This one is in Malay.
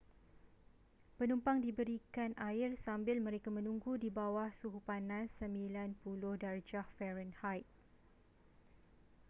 penumpang diberikan air sambil mereka menunggu di bawah suhu panas 90°f